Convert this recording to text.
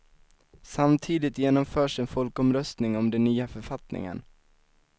Samtidigt genomförs en folkomröstning om den nya författningen.